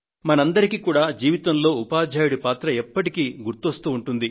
మనందరికీ కూడా జీవితంలో ఉపాధ్యాయుడి పాత్ర ఎప్పటికీ గుర్తుకు వస్తూ ఉంటుంది